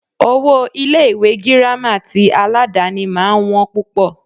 Owó Ilé ìwé gírámà tí aládàni máà ń wọ́n púpọ̀.